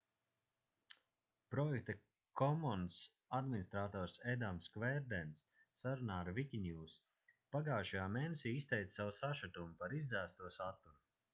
projekta commons administrators edams kverdens sarunā ar wikinews pagājušajā mēnesī izteica savu sašutumu par izdzēsto saturu